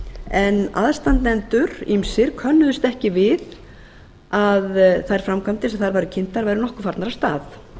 en aðstandendur ýmsir könnuðust ekki við að þær framkvæmdir sem þar voru kynntar væru nokkuð farnar af stað